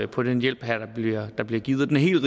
på den hjælp der bliver givet her